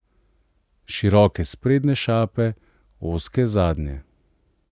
Široke sprednje šape, ozke zadnje.